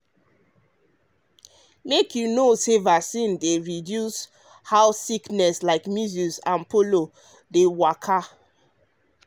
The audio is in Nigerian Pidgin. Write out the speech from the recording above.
make you know say vaccine dey reduce how sickness like measles and polio dey waka.